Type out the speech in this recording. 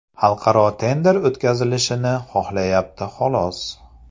Xalqaro tender o‘tkazilishini xohlayapti xolos.